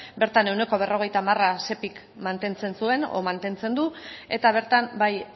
bertan ehuneko berrogeita hamar sepik mantentzen zuen edo mantentzen du eta bertan bai